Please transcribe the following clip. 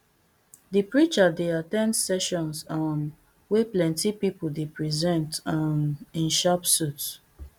di preacher dey at ten d sessions um wey plenti pipo dey present um in sharp suits